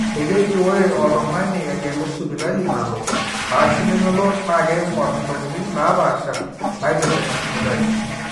ekeji ore oltung'ani egelu sipitali nalo ashu nemelo naa keing'or intokitin naapaasha naaipirta ina sipitali